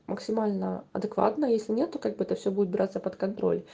максимально адекватное если нету как бы это все будет браться под контроль